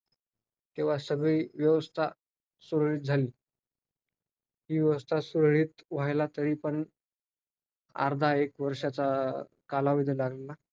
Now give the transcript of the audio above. तर हे तापमान मांस माणसांनी केलेल्या कृत्यांमुळेच वाढत आहे.तर द जेव्हा ज माणसांनी केलेल्या कृतिंमध्ये जर